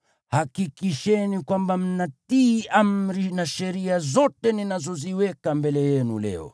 hakikisheni kwamba mnatii amri na sheria zote ninazoziweka mbele yenu leo.